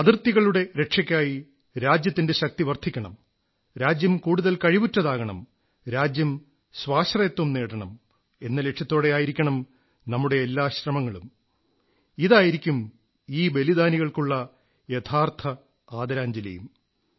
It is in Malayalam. അതിർത്തികളുടെ രക്ഷക്കായി രാജ്യത്തിന്റെ ശക്തി വർധിക്കണം രാജ്യം കൂടുതൽ കഴിവുറ്റതാകണം രാജ്യം സ്വാശ്രയത്വം നേടണം എന്ന ലക്ഷ്യത്തോടെയായിരിക്കണം നമ്മുടെ എല്ലാ ശ്രമങ്ങളും ഇതായിരിക്കും ഈ ബലിദാനികൾക്കുള്ള യഥാർഥ ആദരാഞ്ജലിയും